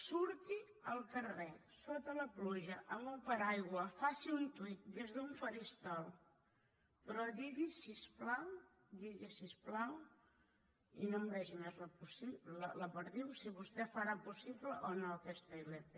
surti al carrer sota la pluja amb un paraigua faci un tweet des d’un faristol però digui si us plau i no maregi més la perdiu si vostè farà possible o no aquesta ilp